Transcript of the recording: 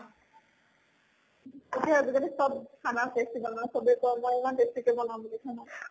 তাকে আজি কালি চব খানা tasty বনাও। চবে কয় মই ইমান tasty কে বনাও বুলি খানা।